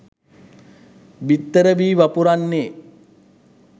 බිත්තර වී වපුරන්නේ